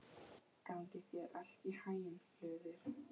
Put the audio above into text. Gangi þér allt í haginn, Hlöður.